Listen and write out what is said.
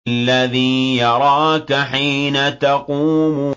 الَّذِي يَرَاكَ حِينَ تَقُومُ